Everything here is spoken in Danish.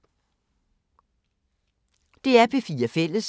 DR P4 Fælles